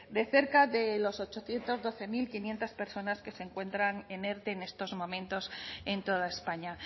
de cerca de las ochocientos doce mil quinientos personas que se encuentran en erte en estos momentos en toda españa